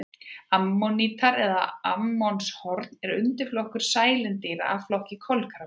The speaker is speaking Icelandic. Ammonítar eða ammonshorn er undirflokkur sælindýra af flokki kolkrabba.